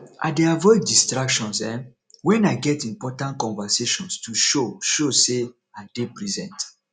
i dey avoid distractions um wen i get important conversations to show show sey i dey present